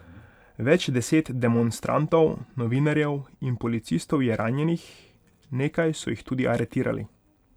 Več deset demonstrantov, novinarjev in policistov je ranjenih, nekaj so jih tudi aretirali.